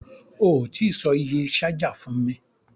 O tí sọ iye ṣájà fún mi.